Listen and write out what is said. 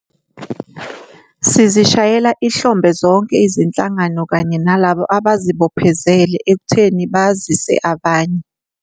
Sizishayela ihlombe zonke izinhlangano kanye nalabo abazibophezele ekutheni bazise abanye.